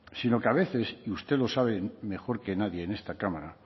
sino que a veces y usted lo sabe mejor que nadie en esta cámara